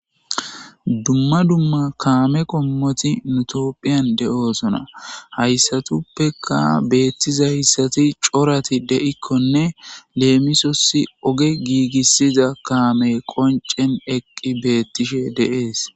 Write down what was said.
Dumma dumma kaame qommoti nu tophphiyan de'osonna; haysatuppeka beetizayssati corati de'ikonne leemisos oge gigisiza kaamey qoncen eqqi beetishe de'es.